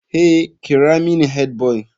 Hey!kira mini headboy.